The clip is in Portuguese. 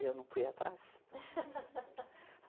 E eu não fui atrás.